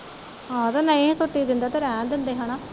ਆਹ ਤੇ ਨਹੀਂ ਛੁੱਟੀ ਦਿੰਦੇ ਤੇ ਰਹਿਣ ਦਿੰਦੇ ਹੈਨਾ